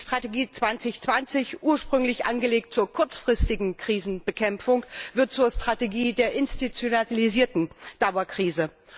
Die Strategie Europa 2020, ursprünglich angelegt zur kurzfristigen Krisenbekämpfung, wird zur Strategie der institutionalisierten Dauerkrise.